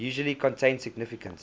usually contain significant